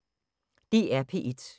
DR P1